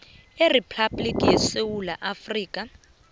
iriphabhligi yesewula afrika